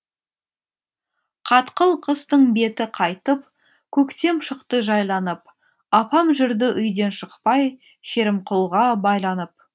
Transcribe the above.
қатқыл қыстың беті қайтып көктем шықты жайланып апам жүрді үйден шықпай шерімқұлға байланып